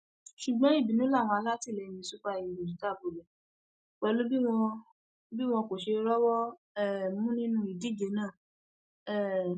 ṣùgbọn ìbínú làwọn alátìlẹyìn super eagles dà bolẹ pẹlú bí wọn bí wọn kò ṣe rọwọ um mú nínú ìdíje náà um